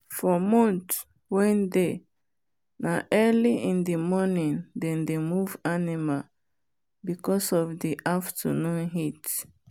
for month wen dey na early in the morning them dey move animal because of the afternoon heat.